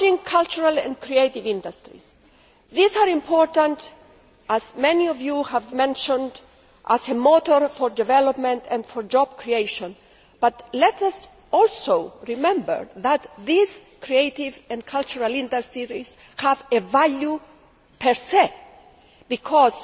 Cultural and creative industries are important as many of you have mentioned as a motor for development and for job creation. However, let us also remember that these creative and cultural industries have a value per se.